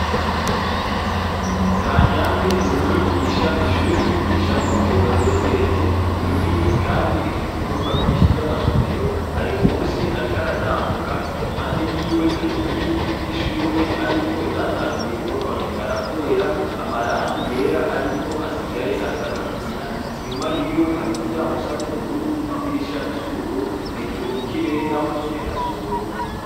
Kanyange n'umwigisha, ishure yigishako ryubatse rigeretse, ni rinini, kandi rifise ivyumba vyinshi vy'amasomero, ari musi ariko aratambuka impande yiwe hari inkingi z'ishure ariko zatanguye kwononekara kubera amarangi yera ariko asigaye asa ikigina, inyuma yiwe hari umuryango usa n'ubururu n'idirisha risa ubururu, hejuru mu kirere, naho nyene hasa ubururu.